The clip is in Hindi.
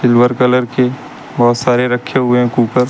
सिल्वर कलर के बहुत सारे रखे हुए हैं कुकर ।